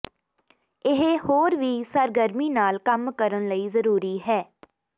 ਇਹ ਹੋਰ ਵੀ ਸਰਗਰਮੀ ਨਾਲ ਕੰਮ ਕਰਨ ਲਈ ਜ਼ਰੂਰੀ ਹੈ